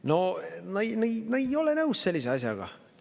No ma ei ole nõus sellise asjaga.